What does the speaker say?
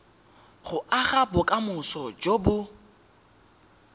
go aga bokamoso jo bo